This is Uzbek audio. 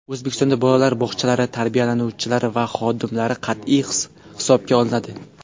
O‘zbekistonda bolalar bog‘chalari tarbiyalanuvchilari va xodimlari qat’iy hisobga olinadi.